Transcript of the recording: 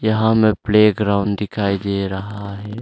यहां में playground दिखाई दे रहा है।